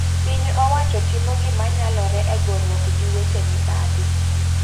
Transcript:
Piny owacho timo gima nyalore e goruok gi weche mibadhi.